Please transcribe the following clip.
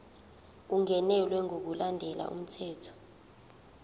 ungenelwe ngokulandela umthetho